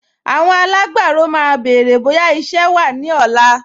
Àwọn alágbàro máa béèrè bóyá iṣẹ́ wà ní ọ̀la